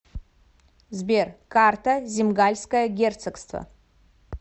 сбер карта земгальское герцогство